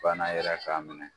Bana yɛrɛ k'a minɛ